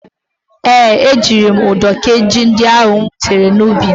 Ee, ejiri m ụdọ kee ji ndị ahụ m gwutara n'ubi m.